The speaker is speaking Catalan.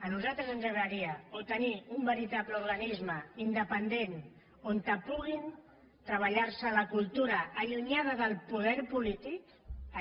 a nosaltres ens agradaria o tenir un verita·ble organisme independent on puguin treballar·se la cultura allunyada del poder polític